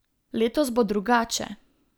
Letos bo drugače.